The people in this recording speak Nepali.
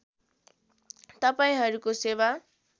तपाईँहरूको सेवा